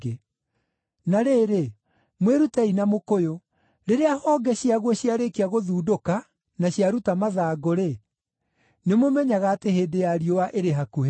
“Na rĩrĩ, mwĩrutei na mũkũyũ: Rĩrĩa honge ciaguo ciarĩkia gũthundũka na ciaruta mathangũ-rĩ, nĩmũmenyaga atĩ hĩndĩ ya riũa ĩrĩ hakuhĩ.